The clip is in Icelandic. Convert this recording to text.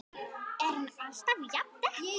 Er hún alltaf jafn dettin?